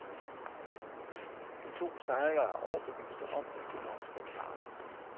De to sejlere er overbeviste om, at de nok skal klare det.